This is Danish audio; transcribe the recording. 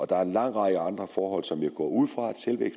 der er en lang række andre forhold som jeg går ud fra at selve